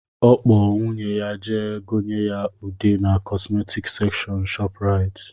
Ọ kpọ nwunye ya jee gonye ya ude na kọsmetics sekshọn ShopRite